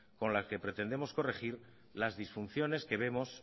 con las que pretendemos corregir las disfunciones que vemos